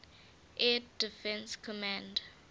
air defense command